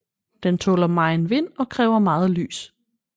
Den tåler megen vind og kræver meget lys